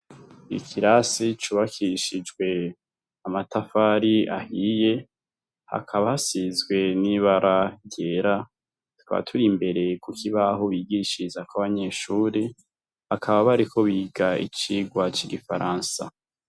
ikirasi cubakishijwe amatafari ahiye hakaba hasizwe n'ibara ryera twari turi imbere ku kibaho aho bigishirizako abanyeshuri hakaba bariko biga icigwa c'igifaransa